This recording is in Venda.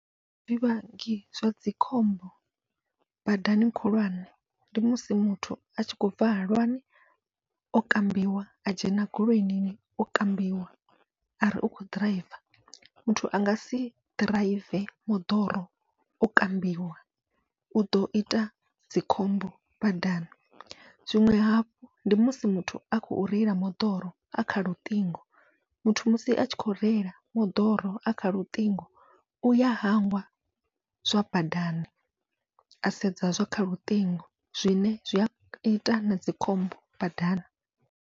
Zwivhangi zwadzi khombo badani khulwane ndi musi muthu atshi khou bva halwani o kambiwa a dzhena goloini o kambiwa ari u kho ḓiraiva, muthu angasi ḓiraive moḓoro o kambiwa uḓo ita dzikhombo badani. Zwiṅwe hafhu ndi musi muthu a khou reila moḓoro a kha luṱingo, muthu musi atshi kho reila moḓoro a kha luṱingo uya hangwa zwa badani a sedza zwa kha luṱingo zwine zwia ita na dzikhombo badani.